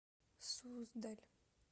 суздаль